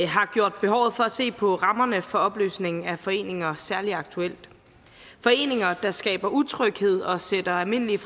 har gjort behovet for at se på rammerne for opløsning af foreninger særlig aktuelt foreninger der skaber utryghed og sætter almindelige